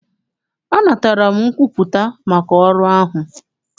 Anatara m nkwupụta maka ọrụ ahụ.